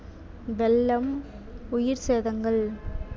வெள்ளம், உயிர் சேதங்கள்